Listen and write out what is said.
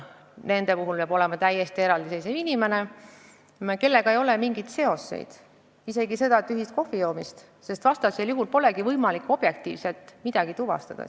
Nende jaoks peab olema täiesti eraldiseisev inimene, kellega neil ei ole mingeid seoseid, isegi mitte ühist kohvijoomist, sest muidu polegi võimalik objektiivselt midagi tuvastada.